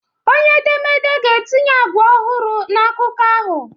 Onye edemede ga-etinye agwa ọhụrụ na akụkọ ahụ